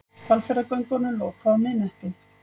Hvalfjarðargöngunum lokað á miðnætti